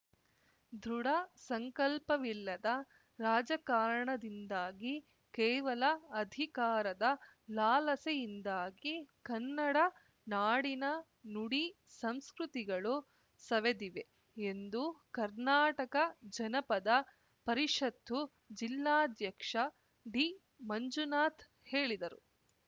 ದೃಢ ಸಂಕಲ್ಪವಿಲ್ಲದ ರಾಜಕಾರಣದಿಂದಾಗಿ ಕೇವಲ ಅಧಿಕಾರದ ಲಾಲಸೆಯಿಂದಾಗಿ ಕನ್ನಡ ನಾಡಿನ ನುಡಿ ಸಂಸ್ಕೃತಿಗಳು ಸವೆದಿವೆ ಎಂದು ಕರ್ನಾಟಕ ಜನಪದ ಪರಿಷತ್ತು ಜಿಲ್ಲಾಧ್ಯಕ್ಷ ಡಿಮಂಜುನಾಥ್‌ ಹೇಳಿದರು